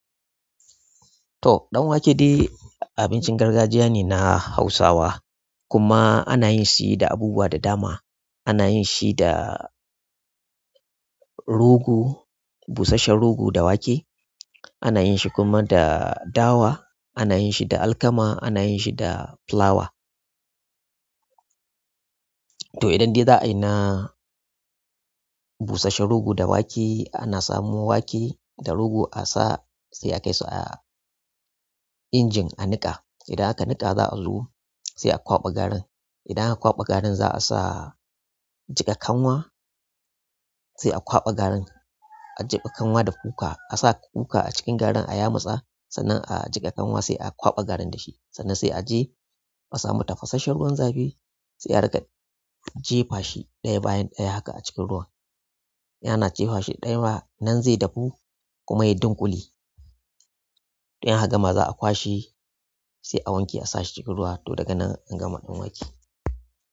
To, danwake dai abincin gargajiya ne na Hausawa kuma ana yin shi da abubuwa da dama. Ana yin shi da rogo, busasshen rogo da wake. Ana yin shi kuma da dawa, ana yin shi da alkama, ana yin shi da filawa to idan dai za'ai na busasshen rogo da wake, ana samo wake da rogo a sa, sai a kai su a injin a niƙa. Idan aka niƙa, za'a zo, sai a kwaɓa garin idan aka kwaɓa garin za a sa jiƙa kanwa, sai a kwaɓa garin. A jefa kanwa da kuka, a sa kuka a cikin garin a yamutsa, sannan a jiƙa kanwa sai a kwaɓa garin da shi. Sannan sai a je a samu tafasasshen ruwan zafi sai a riƙa jefa shi ɗaya bayan ɗaya haka a cikin ruwa. Yana jefa shi ɗaya, nan zai dahu kuma ya dunkule. In aka gama za a kwashe sai a wanke a sa shi cikin ruwa to daga nan an gama ɗanwake.